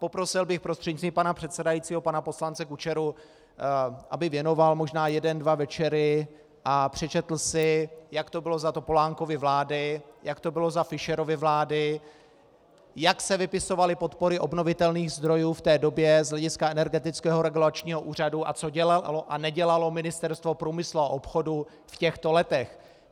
Poprosil bych prostřednictvím pana předsedajícího pana poslance Kučeru, aby věnoval možná jeden dva večery a přečetl si, jak to bylo za Topolánkovy vlády, jak to bylo za Fischerovy vlády, jak se vypisovaly podpory obnovitelných zdrojů v té době z hlediska Energetického regulačního úřadu a co dělalo a nedělalo Ministerstvo průmyslu a obchodu v těchto letech.